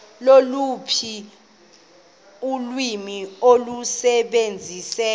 loluphi ulwimi olusebenziseka